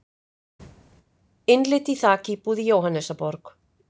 Innlit í þakíbúð í Jóhannesarborg